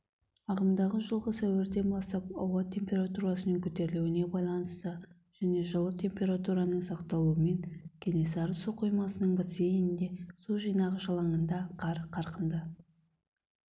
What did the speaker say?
ағымдағы жылғы сәуірден бастап ауа температурасының көтерілуіне байланысты және жылы температураның сақталуымен кенесары су қоймасының бассейнінде су жинағыш алаңында қар қарқынды